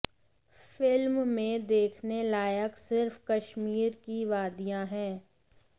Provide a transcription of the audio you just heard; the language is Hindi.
फिल्म में देखने लायक सिर्फ कश्मीर की वादियाँ हैं